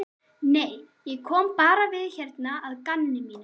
Nei, ég kom bara við hérna að gamni mínu.